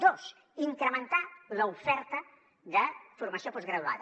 dos incrementar l’oferta de formació postgraduada